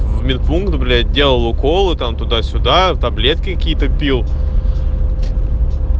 в медпункт блять делал уколы там туда-сюда таблетки какие-то пил